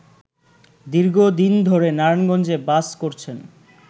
দীর্ঘদিন ধরে নারায়ণগঞ্জে বাস করছেন